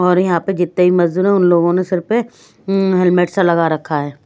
और यहां पे जितने भी मजदूर है उन लोगों ने सिर पे अं हेलमेट सा लगा रखा है।